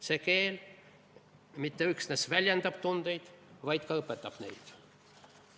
See keel mitte üksnes ei väljenda tundeid, vaid ka õpetab neid.